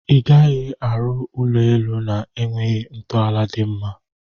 Igaghi arụ ụlọ elụ na egwughi ntọala di mma.